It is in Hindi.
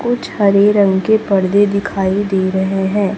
कुछ हरे रंग के पर्दे दिखाई दे रहे हैं।